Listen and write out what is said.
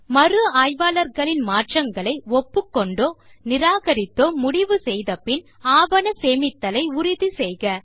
மறு ஆய்வாளர்களின் மாற்றங்களை ஒப்புக்கொண்டோ நிராகரித்தோ முடிவு செய்தபின் ஆவண சேமித்தலை உறுதி செய்க